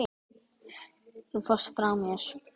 Þú fórst frá mér.